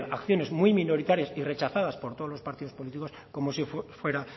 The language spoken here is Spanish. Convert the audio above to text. acciones muy minoritarias y rechazadas por todos los partidos políticos como si fuera